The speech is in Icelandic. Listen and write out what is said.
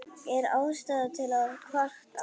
Er ástæða til að kvarta?